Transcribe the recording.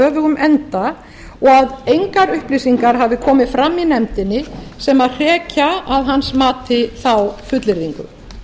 efnum enda og engar upplýsingar hafi komið fram í nefndinni sem hrekja að hans mati þá fullyrðingu